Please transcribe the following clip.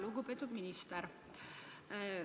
Lugupeetud minister!